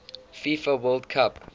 fifa world cup